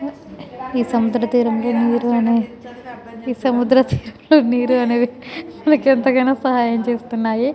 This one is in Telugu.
హా ఈ సముద్రం తీరంలో నీరు అనే ఈ సముద్ర తీరంలో నీరు అనేది నాకు ఎంతగానో సహాయం చేస్తున్నాయి.